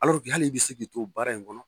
hali bɛ se k'i to baara in kɔnɔ